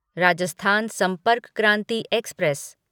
Rajasthan Sampark Kranti express